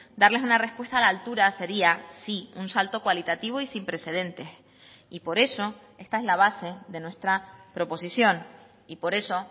darles una respuesta a la altura sería sí un salto cualitativo y sin precedentes y por eso esta es la base de nuestra proposición y por eso